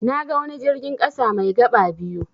Naga wani jirgin ƙasa mai gaba biyu.